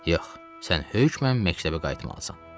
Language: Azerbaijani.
Yox, sən hökmən məktəbə qayıtmalısan, dedim.